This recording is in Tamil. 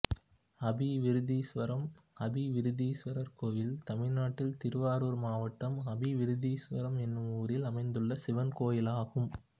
அபிவிருத்தீஸ்வரம் அபிவிருத்தீஸ்வரர் கோயில் தமிழ்நாட்டில் திருவாரூர் மாவட்டம் அபிவிருத்தீஸ்வரம் என்னும் ஊரில் அமைந்துள்ள சிவன் கோயிலாகும்